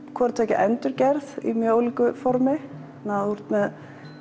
hvort tveggja endurgerð í ólíku formi þú ert með